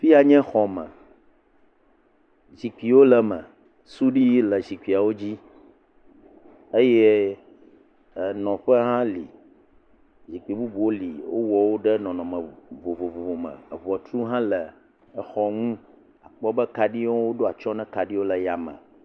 Afi ya nye xɔme zikpuiwo le eme suɖui ʋiwo le zikpui dzi eye enɔƒe hã li zkpui bubuwo li wowɔ woɖe nɔnɔme vovovo me eŋɔtru hã le exɔ ŋu akpɔ be kaɖiwo woɖo atsyɔ̃ na kaɖiwo le yame.